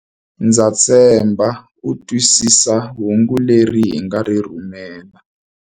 Ndza tshemba u twisisa hungu leri hi nga ri rhumela.